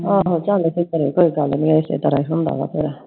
ਆਹੋ ਚੱਲ ਕੋਈ ਗੱਲ ਨੀ ਇਸੇ ਤਰ੍ਹਾਂ ਈ ਹੁੰਦਾ ਆ ਫਿਰ